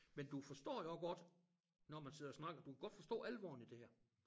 Men du forstår jo også når man sidder og snakker du kan godt forstå alvoren i det her